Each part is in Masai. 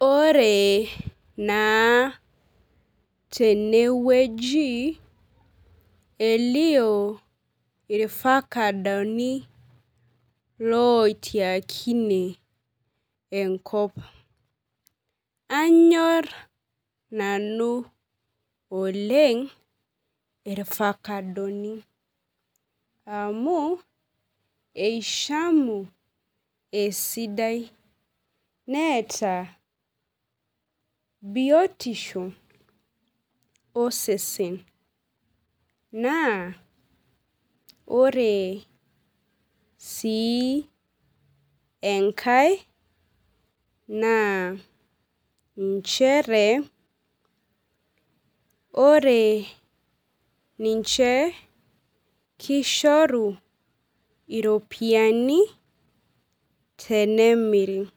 Ore naa tenewueji elio ifakadoni loitiakine enkop , nanyor nanu oleng irfakadoni amu ishamu esidai neeta biotisho osesen naa ore sii enkae naa nchere ore ninche kishoru iropiyiani tenemiri ,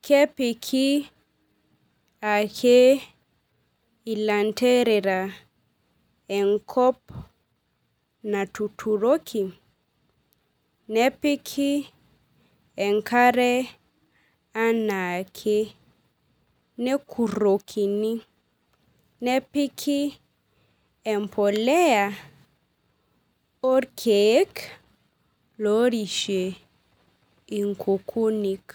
kepiki ake ilanterera natuturoki nepiki enkare anaake , nekuroni , nepiki empolea lorishie inkukunik .